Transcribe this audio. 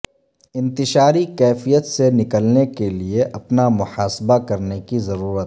انتشاری کیفیت سے نکلنے کے لیے اپنا محاسبہ کرنے کی ضرورت